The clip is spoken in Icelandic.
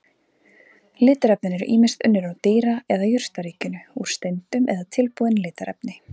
Litarefnin eru ýmist unnin úr dýra- eða jurtaríkinu, úr steindum eða tilbúin litarefni.